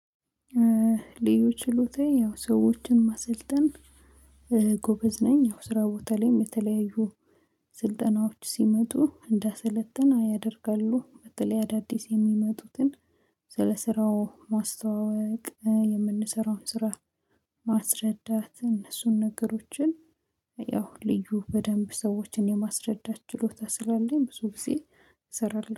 ልዩ ችሎታዬ ያው ሰዎችን ማሰልጠን ጎበዝ ነኝ። ያው ስራ ቦታ ላይም የተለያዩ ስልጠናዎች ሲመጡ እንዳሰለጥን ያደርጋሉ። በተለይ አዳዲስ የሚመጡትን ስለ ስራው ማስተዋወቅ የምንሰራውን ስራ። ማስረዳት እነሱን ነገሮችን ያው ልዩ በደንብ ሰዎችን የማስረዳት ችሎታ ስላለኝ ብዙ ጊዜ እሰራለሁ